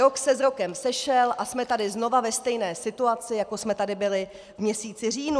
Rok se s rokem sešel a jsme tady znova ve stejné situaci, jako jsme tady byli v měsíci říjnu.